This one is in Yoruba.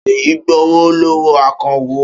Ṣèyí gbowó lọ́wọ́ akawó.